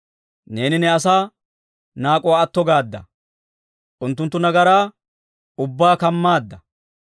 Neeni ne asaa naak'uwaa atto gaadda; unttunttu nagaraa ubbaa kamaadda.